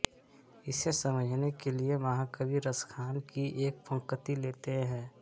इसे समझने के लिए महाकवि रसखान की एक पंक्ति लेते हैं